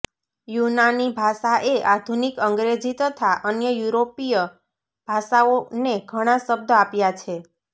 યૂનાની ભાષા એ આધુનિક અંગ્રેજી તથા અન્ય યુરોપીય ભાષાઓ ને ઘણાં શબ્દ આપ્યાં છે